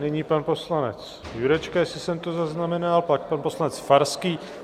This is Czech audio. Nyní pan poslanec Jurečka, jestli jsem to zaznamenal, pak pan poslanec Farský.